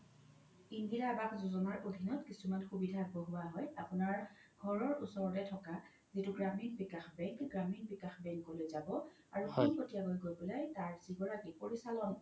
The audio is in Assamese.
ইন্দিৰা আবাস যোজনাৰ অধিনত কিছুমান সুবিধা আগবঢ়োৱা হয় আপোনাৰ ঘৰৰ ওচৰতে থকা যিতো গ্ৰামীণ বিকাশ বেংক, গ্ৰামীণ বিকাশ বেংকলৈ যাব আৰু পোনপতিয়াকৈ গৈ পেলাই তাৰ যি গৰাকি পৰিচালক